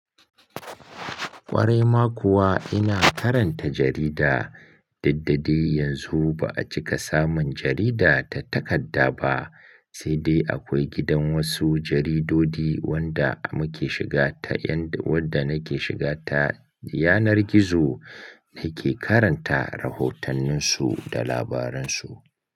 Ƙwarai ma kuwa ina karanta jarida. Duddadai yanzu ba a cika samun jarida ta takadda ba, sai dai akwai gidan wasu jaridodi wanda muke shiga ta, wanda nake shiga ta yanar gizo nake karanta rahotannin su da labaran su.